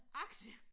Aktier